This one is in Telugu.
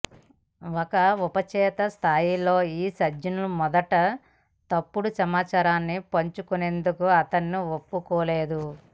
ఒక ఉపచేతన స్థాయిలో ఈ సంజ్ఞ మొదట తప్పుడు సమాచారాన్ని పంచుకునేందుకు అతన్ని ఒప్పుకోదు